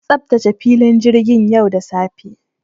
An tsaftace filin jirgin yau da safe.